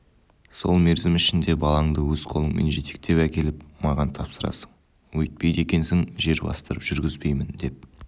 сол мерзім ішінде балаңды өз қолыңмен жетектеп әкеліп маған тапсырасың өйтпейді екенсің жер бастырып жүргізбеймін деп